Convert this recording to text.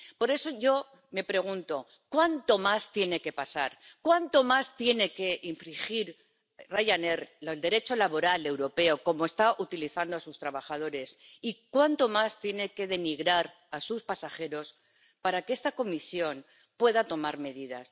Por eso yo me pregunto cuánto más tiene que pasar, cuánto más tiene que infringir Ryanair el derecho laboral europeo —cómo está utilizando a sus trabajadores— y cuánto más tiene que denigrar a sus pasajeros para que esta Comisión pueda tomar medidas.